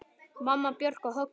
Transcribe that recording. Mamma, Björk og Högni.